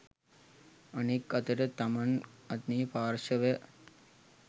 අනෙක් අතට තමන් අනේ පාර්ශවය